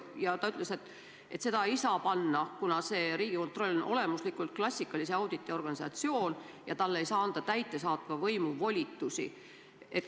Aga ta ütles, et seda ei saa panna, kuna Riigikontroll on olemuslikult klassikalise auditi organisatsioon ja talle ei saa anda täidesaatva võimu volitusi.